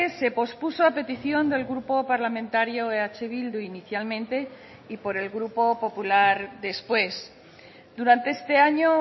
se pospuso a petición del grupo parlamentario eh bildu inicialmente y por el grupo popular después durante este año